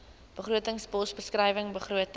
begrotingspos beskrywing begrotings